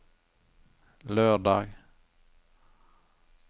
lørdag